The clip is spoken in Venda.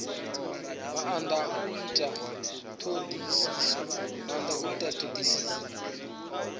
maanda a u ita thodisiso